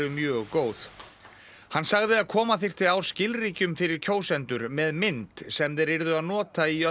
hann sagði að koma þyrfti á skilríkjum fyrir kjósendur með mynd sem þeir yrðu að nota í öllum kosningum